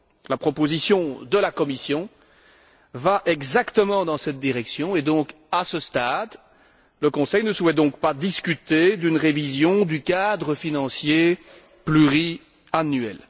La proposition de la Commission va exactement dans cette direction et, à ce stade, le Conseil ne souhaite donc pas discuter d'une révision du cadre financier pluriannuel.